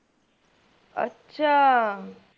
ਅੱਛਾ